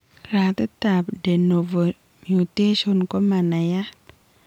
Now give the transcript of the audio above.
Ratit ab de novo mutations koma naiyat